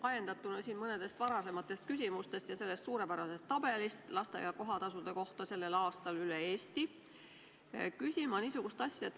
Ajendatuna mõnest varasemast küsimusest ja sellest suurepärasest tabelist lasteaia kohatasude kohta sellel aastal üle Eesti, küsin ma niisugust asja.